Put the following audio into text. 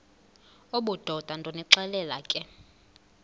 obudoda ndonixelela ke